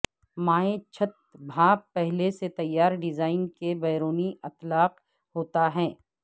مائع چھت بھاپ پہلے سے تیار ڈیزائن کے بیرونی اطلاق ہوتا ہے